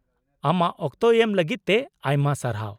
-ᱟᱢᱟᱜ ᱚᱠᱛᱚ ᱮᱢ ᱞᱟᱹᱜᱤᱫᱛᱮ ᱟᱭᱢᱟ ᱥᱟᱨᱦᱟᱣ ᱾